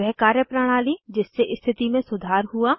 वह कार्यप्रणाली जिससे स्थिति में सुधार हुआ